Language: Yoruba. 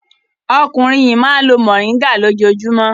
Ọkùnrin yìí máa ń lo mòríngà lójoojúmọ́.